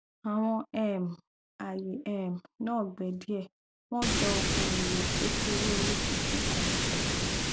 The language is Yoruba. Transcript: àwọn um aye um naa gbẹ die wọn jọ oowo kekere orí funfun kan